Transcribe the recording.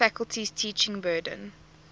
faculty's teaching burden